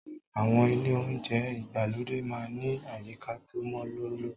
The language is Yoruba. Àwọn ilé oúnjẹ ìgbàlódé máa ń ní àyíká tó mọ́ lóló.